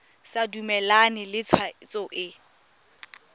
sa dumalane le tshwetso e